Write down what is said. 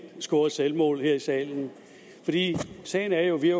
scoret selvmål her i salen sagen er jo at vi